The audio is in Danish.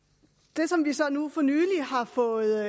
det som vi så nu for nylig har fået